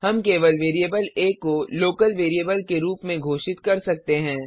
हम केवल वेरिएबल आ को लोकल वेरिएबल के रूप में घोषित कर सकते हैं